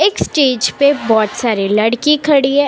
एक स्टेज पे बहुत सारे लड़की खड़ी है।